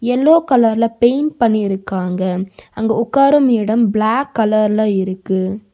Yellow கலர்ல paint பண்ணி இருக்காங்க அங்க உட்காரும் இடம் பிளாக் கலர்ல இருக்கு.